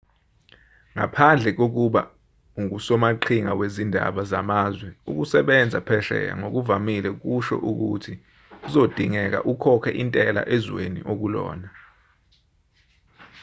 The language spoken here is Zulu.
ngaphandle kokuba ungusomaqhinga wezindaba zamazwe ukusebenza phesheya ngokuvamile kusho ukuthi kuzodingeka ukhokhe intela ezweni okulona